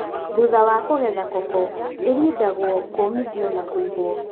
Thutha wa kũgetha koko ĩrindagwo , kũmithio na kũigũo.